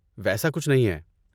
ویسا کچھ نہیں ہے۔